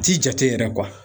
Ti jate yɛrɛ